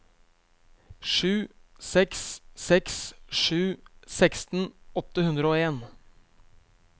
sju seks seks sju seksten åtte hundre og en